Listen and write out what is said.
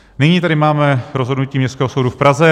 Nyní tady máme rozhodnutí Městského soudu v Praze.